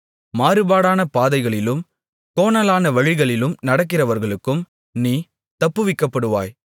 மாறுபாடான பாதைகளிலும் கோணலான வழிகளிலும் நடக்கிறவர்களுக்கும் நீ தப்புவிக்கப்படுவாய்